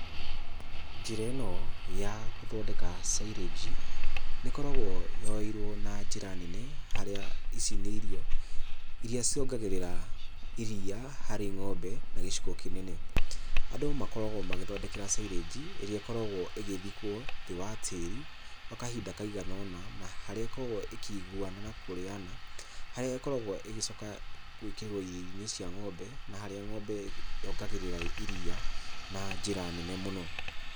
Njĩra ĩno ya gũthondeka cairĩnji, nĩĩkoragwo yoeirwo na njĩra nene harĩa ici nĩ irio irĩa ciongagĩrĩra iria harĩ ng'ombe na gĩcigo kĩnene. Andũ makoragwo magĩthondekera cairĩnji ĩrĩa ĩkoragwo ĩgĩthikwo thĩ wa tĩri gwa kahinda kaigana ũna na harĩa ĩkoragwo ĩkĩiguna na kũrĩana, harĩa ĩkoragwo ĩgĩcoka gwĩkĩrwo irio-inĩ cia ng'ombe na harĩa ng'ombe yongagĩrĩra iria na njĩra nene mũno.